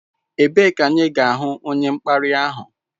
Ebee ka anyị ga-ahụ onye mkparị ahụ?